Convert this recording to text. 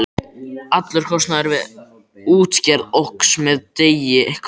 Allur kostnaður við útgerð óx með degi hverjum.